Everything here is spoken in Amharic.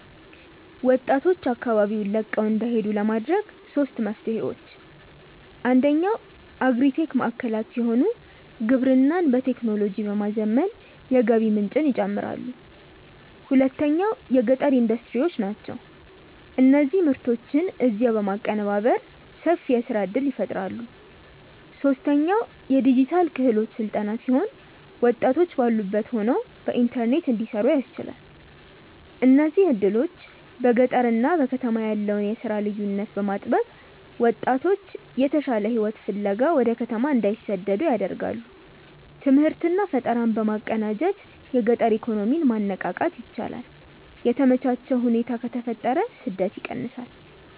ወጣቶች አካባቢውን ለቀው እንዳይሄዱ ለማድረግ ሦስት መፍትሄዎች፦ አንደኛው አግሪ-ቴክ ማዕከላት ሲሆኑ፣ ግብርናን በቴክኖሎጂ በማዘመን የገቢ ምንጭን ይጨምራሉ። ሁለተኛው የገጠር ኢንዱስትሪዎች ናቸው፤ እነዚህ ምርቶችን እዚያው በማቀነባበር ሰፊ የሥራ ዕድል ይፈጥራሉ። ሦስተኛው የዲጂታል ክህሎት ሥልጠና ሲሆን፣ ወጣቶች ባሉበት ሆነው በኢንተርኔት እንዲሠሩ ያስችላል። እነዚህ ዕድሎች በገጠርና በከተማ ያለውን የሥራ ልዩነት በማጥበብ ወጣቶች የተሻለ ሕይወት ፍለጋ ወደ ከተማ እንዳይሰደዱ ያደርጋሉ። ትምህርትና ፈጠራን በማቀናጀት የገጠር ኢኮኖሚን ማነቃቃት ይቻላል። የተመቻቸ ሁኔታ ከተፈጠረ ስደት ይቀንሳል።